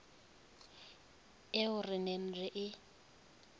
eo re neng re e